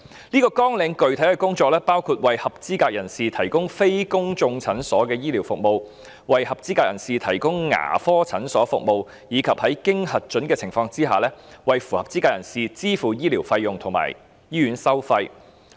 這個綱領的具體工作包括"為合資格人士提供非公眾診所醫療服務"、"為合資格人士提供牙科診所服務"，以及"在經核准的情況下，為合資格人士支付醫療費用和醫院收費"。